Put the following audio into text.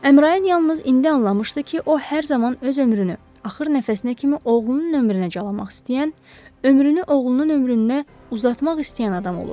Əmrayın yalnız indi anlamışdı ki, o hər zaman öz ömrünü axır nəfəsinə kimi oğlunun ömrünə calamaq istəyən, ömrünü oğlunun ömrünə uzatmaq istəyən adam olub.